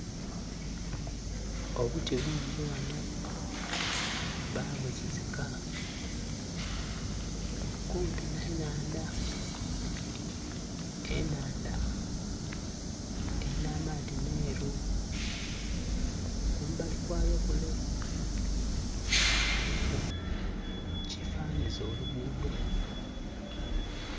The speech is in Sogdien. Obuti bungi ghanho, babuzizika kumpi nha nnhandha, ennhandha elinha amaadhi meeru. Kumbali kwayo kule kuliku ekyefanhanhiza olugudho